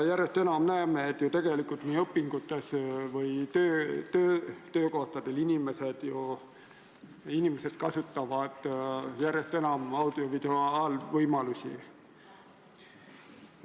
Järjest enam me näeme, et õpingutes või töökohtadel inimesed kasutavad aina enam audio-videovõimalusi.